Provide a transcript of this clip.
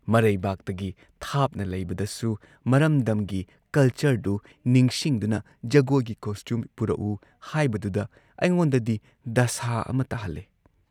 ꯃꯔꯩꯕꯥꯛꯇꯒꯤ ꯊꯥꯞꯅ ꯂꯩꯕꯗꯁꯨ ꯃꯔꯝꯗꯝꯒꯤ ꯀꯜꯆꯔꯗꯨ ꯅꯤꯡꯁꯤꯡꯗꯨꯅ ꯖꯒꯣꯏꯒꯤ ꯀꯣꯁꯇ꯭ꯌꯨꯝ ꯄꯨꯔꯛꯎ ꯍꯥꯏꯕꯗꯨꯗ ꯑꯩꯉꯣꯟꯗꯗꯤ ꯗꯁꯥ ꯑꯃ ꯇꯥꯍꯜꯂꯦ